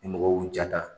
Ni mɔgɔw y'u ja ta